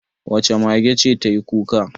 Wace mage ce ta yi kuka?